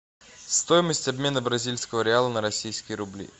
стоимость обмена бразильского реала на российские рубли